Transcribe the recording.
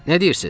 Nə deyirsiz?